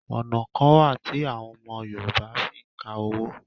Ọna kan wa ti awọn ọmọ Yorùbá fìí ǹka owo